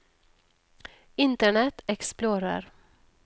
internet explorer